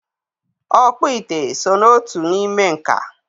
Ọkpụ ite so n'otu n'ime nka.